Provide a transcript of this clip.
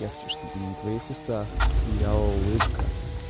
я хочу на твоих устах сияла улыбка